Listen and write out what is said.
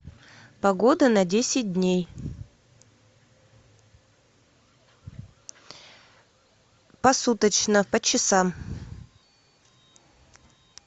погода на десять дней посуточно по часам